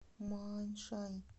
мааньшань